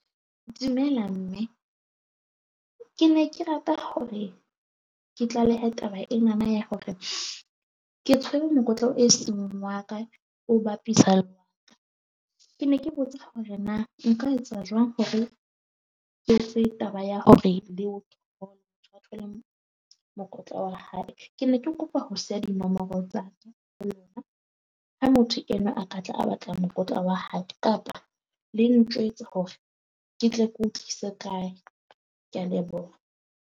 Dumela mme, ke ne ke rata hore ke tlalehe taba ena na ya hore ke tshwere mokotla e seng wa ka, o bapisa ke ne ke botsa hore na nka etsa jwang hore ke taba ya hore le o thole mokotla wa hae? Ke ne ke kopa ho siya dinomoro tsa ha motho enwa a ka tla a batla mokotla wa hae kapa le ntjwetsa hore ke tle ke o tlise kae. Ke a leboha.